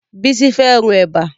Bísí fẹ́ ro Ẹ̀bà